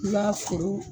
I b'a foro